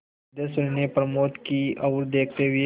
सिद्धेश्वरी ने प्रमोद की ओर देखते हुए